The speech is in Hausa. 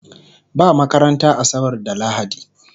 Ba makaranta asabar da lahadi